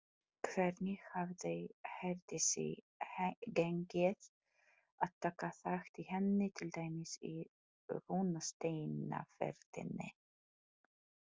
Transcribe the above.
Hvernig hafði Herdísi gengið að taka þátt í henni, til dæmis í rúnasteinaferðinni?